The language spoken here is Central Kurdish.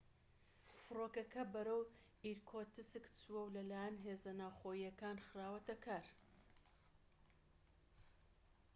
فرۆکەکە بەرەو ئیرکوتسک چووە و لە لایەن هێزە ناوخۆییەکان خراوەتە کار